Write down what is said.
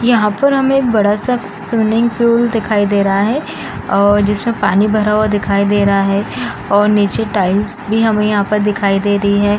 यहाँ पर हमें एक बड़ा सा स्विमिंग पूल दिखाई दे रहा है और जिसमें पानी भरा हुआ दिखाई दे रहा है और नीचे टाइल्स भी हमें यहाँ पर दिखाई दे रही हैं।